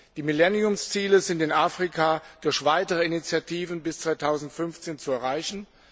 Die Millenniumsziele sind in Afrika durch weitere Initiativen bis 2015 zu erreichen.